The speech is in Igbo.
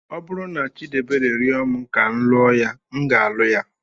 Ọ bụrụ na Chidiebere rịọ m ka m lụọ ya, m ga-alụ ya.